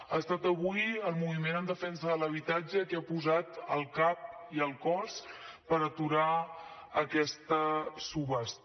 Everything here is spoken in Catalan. ha estat avui el moviment en defensa de l’habitatge qui ha posat el cap i el cos per aturar aquesta subhasta